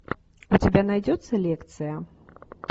у тебя найдется лекция